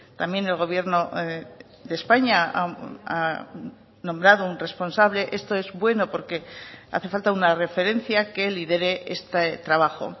también el gobierno de españa ha nombrado un responsable esto es bueno porque hace falta una referencia que lidere este trabajo